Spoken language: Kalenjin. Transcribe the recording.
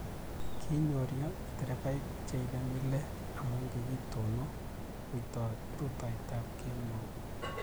Kinyorio derevaik che ibei mile amu kikitonon rutoiteb kemou